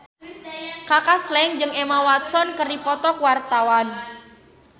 Kaka Slank jeung Emma Watson keur dipoto ku wartawan